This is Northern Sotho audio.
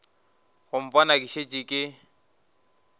go mpona ke šetše ke